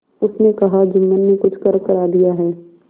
उसने कहाजुम्मन ने कुछ करकरा दिया है